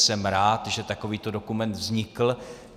Jsem rád, že takovýto dokument vznikl.